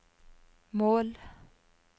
mål